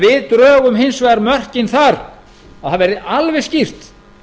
við drögum hins vegar mörkin þar að það verði alveg skýrt